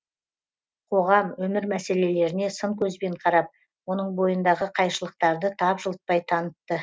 қоғам өмір мәселелеріне сын көзбен қарап оның бойындағы қайшылықтарды тапжылтпай танытты